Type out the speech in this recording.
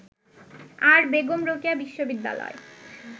আর বেগম রোকেয়া বিশ্ববিদ্যালয়